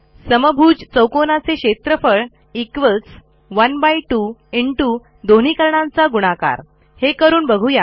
समभुज चौकोनाचे क्षेत्रफळ 12 दोन्ही कर्णांचा गुणाकार हे करून बघू या